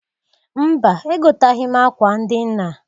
Mba! Egotaghi m akwa ndị nna.